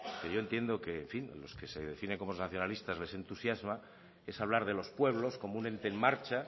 que yo entiendo que en fin los que se definen como nacionalistas les entusiasma es hablar de los pueblos como un ente en marcha